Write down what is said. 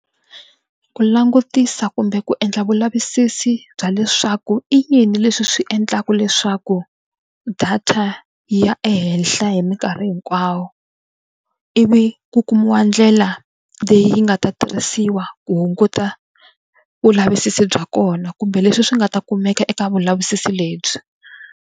Ku langutisa kumbe ku endla vulavisisi bya leswaku i yini leswi swi endlaka leswaku data yi ya ehenhla hi minkarhi hinkwayo ivi ku kumiwa ndlela leyi nga ta tirhisiwa ku hunguta vulavisisi bya kona kumbe leswi swi nga ta kumeka eka vulavisisi lebyi.